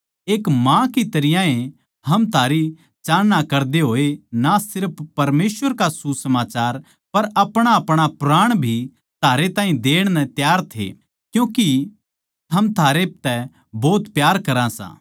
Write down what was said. एक माँ की तरियां ए हम थारी चाहना करदे होए ना सिर्फ परमेसवर का सुसमाचार पर अपणाअपणा प्राण भी थारै ताहीं देण नै त्यार थे क्यूँके के हम थारे तै भोत प्यारे करां सां